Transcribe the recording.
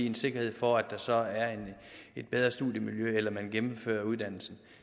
en sikkerhed for at der så var et bedre studiemiljø eller at de gennemfører uddannelsen